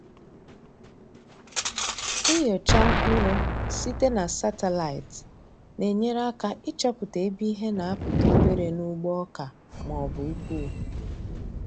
Nnyocha mkpụrụ site na satịlaịtị na-enyere aka ịchọpụta ebe ihe na-apụta obere n’ugbo oka ma ọ bụ ukwu.